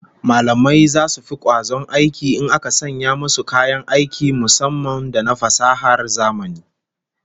Mallamai zasu fi kwazon aiki in aka sanya musu kayan aiki musamman da na fasahar zamani